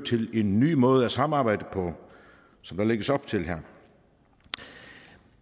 til en ny måde at samarbejde på som der lægges op til her